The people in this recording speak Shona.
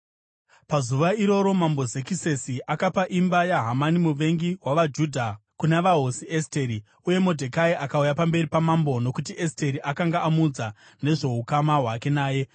Pazuva iroro Mambo Zekisesi akapa imba yaHamani muvengi wavaJudha kuna vaHosi Esteri. Uye Modhekai akauya pamberi pamambo, nokuti Esteri akanga amuudza nezvoukama hwake naye.